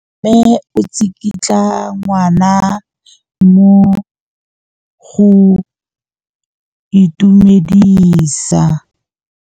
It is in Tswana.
Mme o tsikitla ngwana go mo itumedisa.